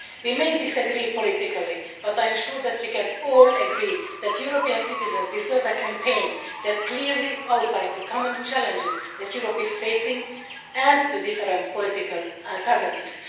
We may disagree politically, but I am sure that we can all agree that European citizens deserve a campaign which clearly outlines the common challenges that Europe is facing and the different political alternatives.